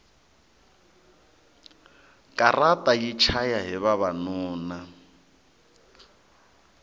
katara yi chaya hi vavanuna